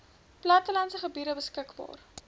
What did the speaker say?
plattelandse gebiede beskikbaar